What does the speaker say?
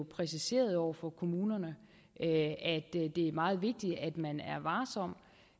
præciseret over for kommunerne at det er meget vigtigt at man